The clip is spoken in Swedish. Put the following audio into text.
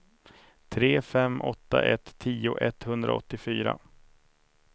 tre fem åtta ett tio etthundraåttiofyra